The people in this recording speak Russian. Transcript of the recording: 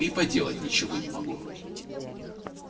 и поделать ничего не могу